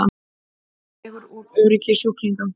Dregur úr öryggi sjúklinga